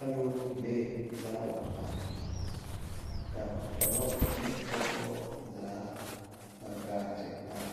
Aloopelee la wa are ka dɔbɔ ne pɔgbɔ zaa a gaa te are